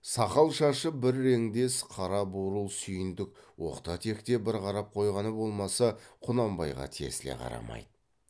сақал шашы бір реңдес қара бурыл сүйіндік оқта текте бір қарап қойғаны болмаса құнанбайға тесіле қарамайды